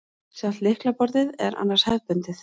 Sjálft lyklaborðið er annars hefðbundið